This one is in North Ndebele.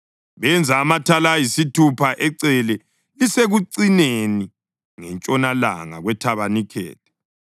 Benza amathala ayisithupha ecele elisekucineni ngentshonalanga kwethabanikeli,